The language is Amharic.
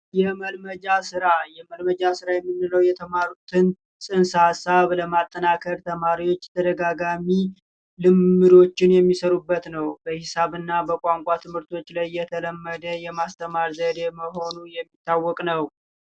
የተማሩትን ጽንሰ ሀሳብ ለማጠናከር ተማሪዎች ደጋጋሚ ልምሮችን የሚሰሩበት ነው በሂሳብና በቋንቋ ትምህርቶች ላይ እየተለመደ የማስተማር ዘዴ መሆኑ የሚታወቅ ነው